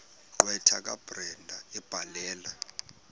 gqwetha kabrenda ebhalela